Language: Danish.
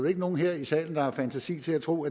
ikke nogen her i salen der har fantasi til at tro